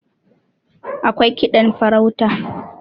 akwai kiɗan farauta